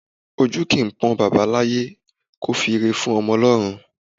Ojú kìí pọ́n baba láyé kò fi ìre fún ọmọ lọ́run